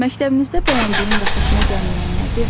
Məktəbinizdə bəyəndiyin və xoşuna gəlməyən nədir?